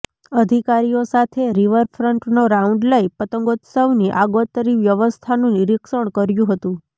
અધિકારીઓ સાથે રિવરફ્રન્ટનો રાઉન્ડ લઇ પતંગોત્સવની આગોતરી વ્યવસ્થાનું નિરીક્ષણ કર્યું હતું